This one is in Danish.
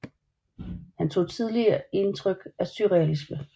Han tog tidlig intryk av surrealisme